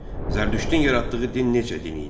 Zərdüştin yaratdığı din necə din idi?